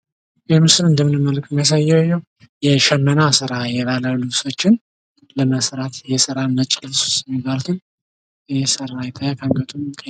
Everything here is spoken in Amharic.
በምስሉ እንደምንመለከተው የሚያሳየው የሽመና ስራ የባለ ልብሶችን ለመስራት የእስላም ነጭ ልብስ የሚባሉትን እየሰራ ይታያል።